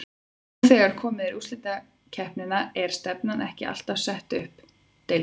Nú þegar er komið í úrslitakeppnina er stefnan ekki alltaf sett upp um deild?